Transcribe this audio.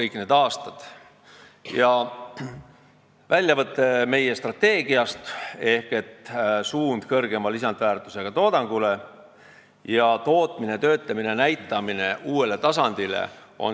Ja nüüd väljavõte meie strateegiast: "suund kõrgema lisandväärtusega toodangule" ja "tootmine – töötlemine – näitamine uuele tasandile".